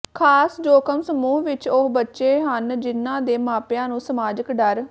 ਖਾਸ ਜੋਖਮ ਸਮੂਹ ਵਿੱਚ ਉਹ ਬੱਚੇ ਹਨ ਜਿਨ੍ਹਾਂ ਦੇ ਮਾਪਿਆਂ ਨੂੰ ਸਮਾਜਿਕ ਡਰ